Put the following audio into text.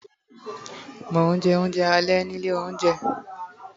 mo nje ounje ale ni Ile ounje